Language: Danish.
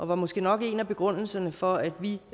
var måske nok en af begrundelserne for at vi